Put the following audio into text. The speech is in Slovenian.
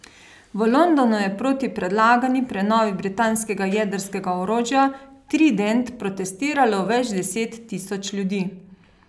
V Londonu je proti predlagani prenovi britanskega jedrskega orožja trident protestiralo več deset tisoč ljudi.